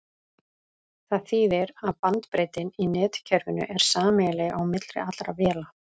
Það þýðir að bandbreiddin í netkerfinu er sameiginleg á milli allra véla.